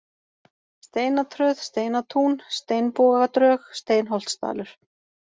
Steinatröð, Steinatún, Steinbogadrög, Steinholtsdalur